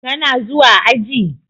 Ka na zuwa aji?